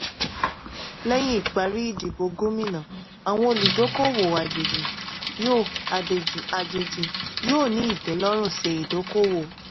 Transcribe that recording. lẹ́yìn ìparí ìdìbò gómìnà àwọn olùdókòwò àjèjì yóò àjèjì yóò ní ìtẹ́lọ́rùn ṣe idoko-owo.